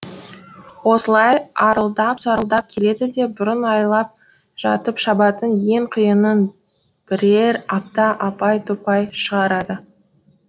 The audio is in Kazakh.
осылай арылдап сарылдап келеді де бұрын айлап жатып шабатын ен қиының бірер аптада апай топай шығарады